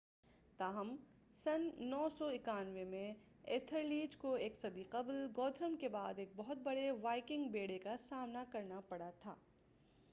تاہم سن 991 میں ایتھلریڈ کو ایک صدی قبل گوتھرم کے بعد ایک بہت بڑے وائکنگ بیڑے کا سامنا کرنا پڑا تھا